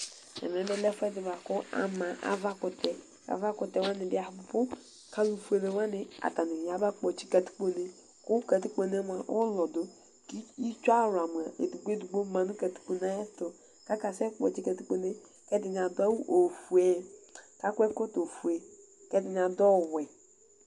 Ɛmɛ lɛ ɛfuɛdi ku ama avakutɛ ava ɛkutɛ wani bi abu alufueni aba kpɔtsi katikpone ku katikpone ulɔdu itsu awla edigbo edigbo ma nu katikpone kakasɛ kpɔtsi katikpone ɛdini adu awu fue ɛkɔtɔ fue ɛdini adu ɔwɛ